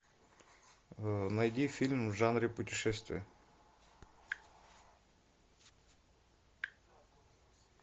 найди фильм в жанре путешествия